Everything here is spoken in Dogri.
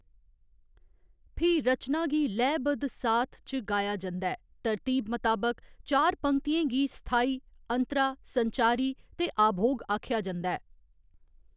फ्ही रचना गी लयबद्ध साथ च गाया जंदा ऐ, तरतीब मताबक चार पंक्तियें गी स्थाई, अंतरा, संचारी ते आभोग आखेआ जंदा ऐ।